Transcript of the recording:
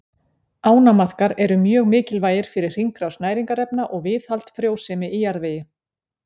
Ánamaðkar eru mjög mikilvægir fyrir hringrás næringarefna og viðhald frjósemi í jarðvegi.